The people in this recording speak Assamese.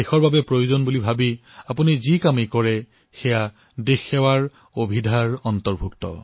দেশৰ আৱশ্যকতা অনুধাৱন কৰি যি কামেই কৰক সেয়াই হল দেশৰ প্ৰতি আগবঢ়োৱা সেৱা